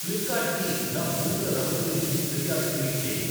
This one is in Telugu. ఫ్లిప్కార్ట్ కి నా బూట్ల రంగు గురించి ఫిర్యాదు ట్వీట్ చేయి